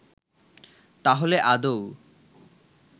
তাহলে আদৌ